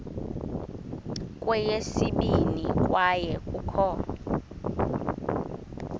kweyesibini kwaye kukho